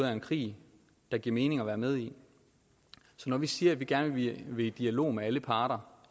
er en krig det giver mening at være med i så når vi siger at vi gerne vil i dialog med alle parter